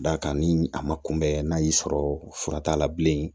D'a kan ni a ma kunbɛn n'a y'i sɔrɔ fura t'a la bilen